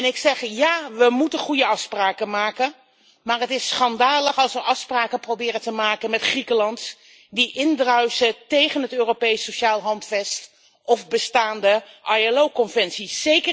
Ik zeg ja, we moeten goede afspraken maken, maar het is schandalig als we afspraken proberen te maken met Griekenland die indruisen tegen het Europees Sociaal Handvest of bestaande ILO conventies.